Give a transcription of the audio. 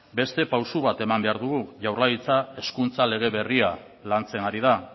beste pausu bat eman behar dugu jaurlaritza hezkuntza lege berria lantzen ari da